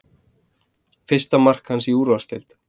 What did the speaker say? Fyrsta mark hans í úrvalsdeildinni